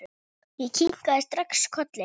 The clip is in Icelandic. Ég kinkaði strax kolli.